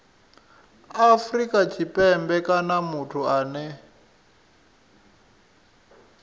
afrika tshipembe kana muthu ane